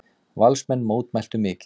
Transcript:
Valsmenn mótmæltu mikið.